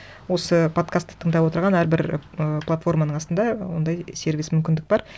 осы подкастты тыңдап отырған әрбір ы платформаның астында ондай сервис мүмкіндік бар